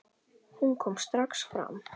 Hún kom strax fram.